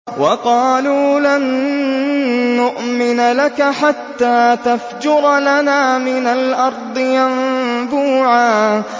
وَقَالُوا لَن نُّؤْمِنَ لَكَ حَتَّىٰ تَفْجُرَ لَنَا مِنَ الْأَرْضِ يَنبُوعًا